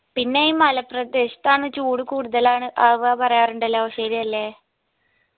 പിന്നെ ഈ മലപ്രദേശത്താന്ന് ചൂട് കൂടുതലാണ് ആവ പറയാറുണ്ടല്ലോ ശെരിയല്ലേ